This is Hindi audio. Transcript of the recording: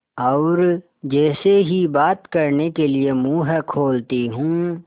और जैसे ही बात करने के लिए मुँह खोलती हूँ